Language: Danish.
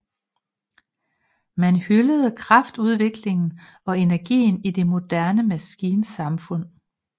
Man hyldede kraftudviklingen og energien i det moderne maskinsamfund